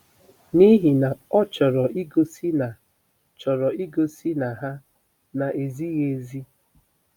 N'ihi na ọ chọrọ igosi na chọrọ igosi na ha na-ezighị ezi!